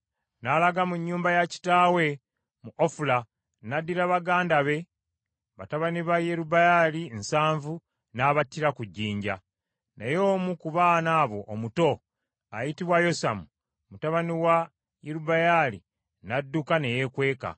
N’alaga mu nnyumba ya kitaawe mu Ofula n’addira baganda be, batabani ba Yerubbaali nsanvu n’abattira ku jjinja. Naye omu ku baana abo omuto ayitibwa Yosamu mutabani wa Yerubbaali, n’adduka ne yeekweka.